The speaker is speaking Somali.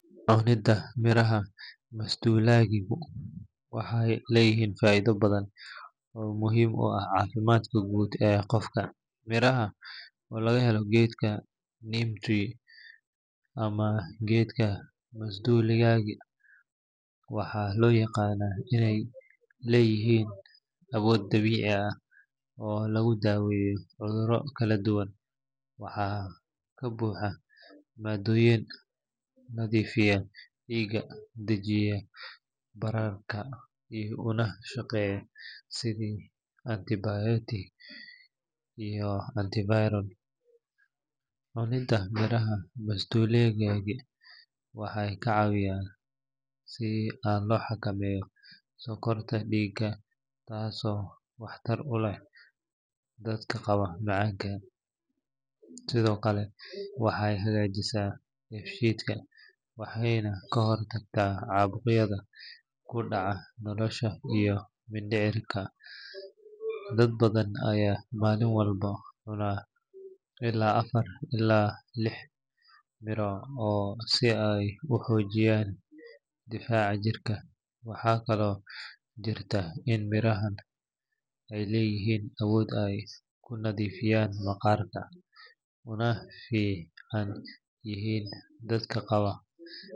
Cunidda miraha masduulaagigu waxay leedahay faa’iidooyin badan oo muhiim u ah caafimaadka guud ee qofka. Mirahan oo laga helo geedka neem tree ama geedka masduulaagiga, waxaa loo yaqaannaa inay leeyihiin awood dabiici ah oo lagu daaweeyo cudurro kala duwan. Waxaa ka buuxa maadooyin nadiifiya dhiigga, dajiya bararka una shaqeeya sidii antibacterial iyo antiviral. Cunidda miraha masduulaagiga waxay kaa caawisaa in la xakameeyo sonkorta dhiigga, taasoo waxtar u leh dadka qaba macaanka. Sidoo kale waxay hagaajisaa dheefshiidka, waxayna ka hortagtaa caabuqyada ku dhaca caloosha iyo mindhicirka. Dad badan ayaa maalin walba cunaan ilaa afar ilaa lix miro ah si ay u xoojiyaan difaaca jirka. Waxaa kaloo jirta in mirahan ay leeyihiin awood ay ku nadiifiyaan maqaarka, una fiican yihiin dadka qaba.